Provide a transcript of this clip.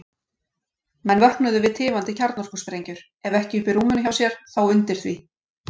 Menn vöknuðu við tifandi kjarnorkusprengjur, ef ekki uppi í rúminu hjá sér, þá undir því.